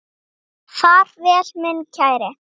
Far vel minn kæri.